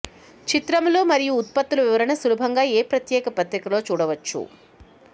చిత్రములు మరియు ఉత్పత్తుల వివరణ సులభంగా ఏ ప్రత్యేక పత్రికలో చూడవచ్చు